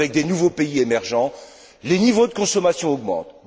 Avec de nouveaux pays émergents, les niveaux de consommation augmentent.